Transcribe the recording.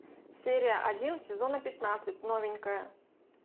серия один сезона пятнадцать новенькая